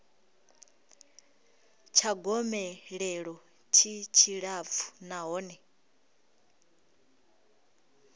tsha gomelelo tshi tshilapfu nahone